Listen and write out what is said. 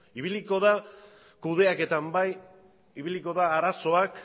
ibiliko da kudeaketan bai ibiliko da arazoak